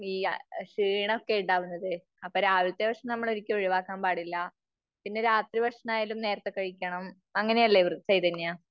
ഈ ക്ഷീണം ഒക്കെ ഉണ്ടാവുന്നത്. അപ്പോ രാവിലത്തെ ഭക്ഷണം നമ്മൾ ഒരിക്കലും ഒഴിവാക്കാൻ പാടില്ല. പിന്നെ രാത്രി ഭക്ഷണം ആയാലും നേരത്തെ കഴിക്കണം. അങ്ങനെയല്ലേ ചൈതന്യ?